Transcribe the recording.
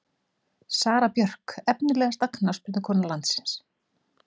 Sara Björk Efnilegasta knattspyrnukona landsins?